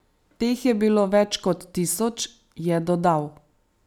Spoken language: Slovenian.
Teh je bilo več kot tisoč, je dodal.